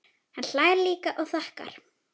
Hann hlær líka og þakkar.